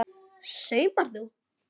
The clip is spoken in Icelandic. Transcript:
Saumar þú?